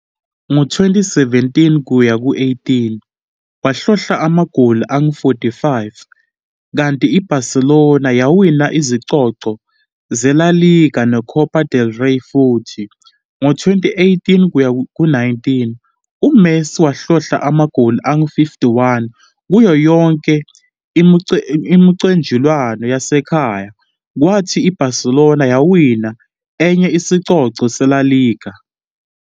Ngo-2017-18, wahlohla amagoli angu-45, kanti i-Barcelona yawina izicoco zeLa Liga neCopa del Rey futhi. Ngo-2018-19, uMessi wahlohla amagoli angu-51 kuyo yonke imiqhudelwano yasekhaya, kwathi i-Barcelona yawina enye isicoco seLa Liga.